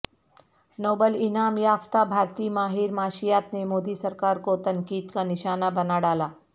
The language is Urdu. نوبل انعام یافتہ بھارتی ماہر معاشیات نے مودی سرکار کو تنقید کا نشانہ بنا ڈالا